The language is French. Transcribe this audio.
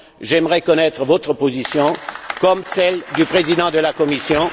J'aimerais connaître votre position, tout comme celle du Président de la Commission.